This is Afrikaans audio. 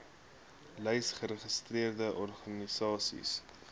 lys geregistreerde organisasies